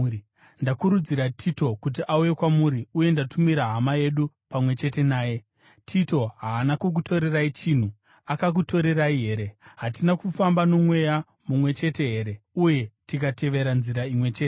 Ndakurudzira Tito kuti auye kwamuri uye ndatumira hama yedu pamwe chete naye. Tito haana kukutorerai chinhu, akakutorerai here? Hatina kufamba nomweya mumwe chete here uye tikatevera nzira imwe chete?